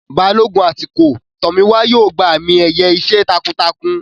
Balógun atukọ̀ Tomiwa yóò gba àmì-ẹ̀yẹ iṣẹ́ takuntakun.